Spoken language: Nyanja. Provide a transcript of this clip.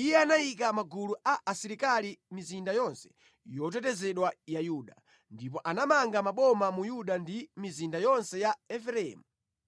Iye anayika magulu a asilikali mʼmizinda yonse yotetezedwa ya Yuda, ndipo anamanga maboma mu Yuda ndi mʼmizinda yonse ya Efereimu